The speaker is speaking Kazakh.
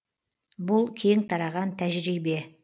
бұл кең тараған тәжірибе